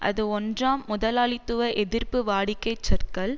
அது ஒன்றாம் முதலாளித்துவ எதிர்ப்பு வாடிக்கைச் சொற்கள்